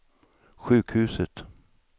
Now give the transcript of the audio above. sjukhuset